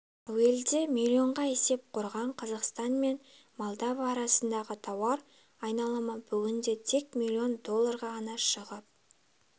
әуелгіде миллионға есеп құрған қазақстан мен молдова арасындағы тауар айналымы бүгінде тек миллион долларға ғана шығып